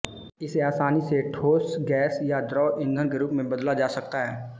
इसे आसानी से ठोस गैस या द्रव ईंधन के रूप में बदला जा सकता है